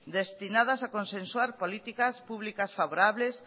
destinadas a consensuar políticas públicas favorables